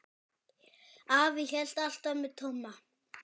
Afi hélt alltaf með Tomma.